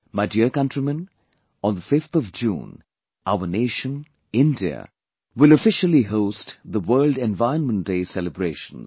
My dear countrymen, on the 5th of June, our nation, India will officially host the World Environment Day Celebrations